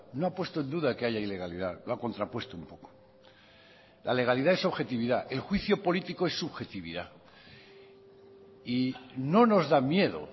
no ha puesto en duda que haya ilegalidad lo ha contrapuesto un poco la legalidad es objetividad el juicio político es subjetividad y no nos da miedo